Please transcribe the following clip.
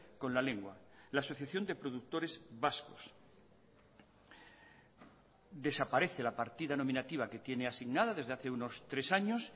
con la lengua la asociación de productores vascos desaparece la partida nominativa que tiene asignada desde hace unos tres años